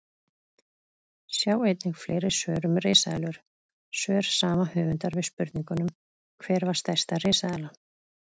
Sjá einnig fleiri svör um risaeðlur: Svör sama höfundar við spurningunum Hver var stærsta risaeðlan?